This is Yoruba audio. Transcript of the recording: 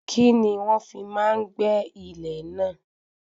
Kíni wọ́n fi máa gbé ilẹ̀ náà?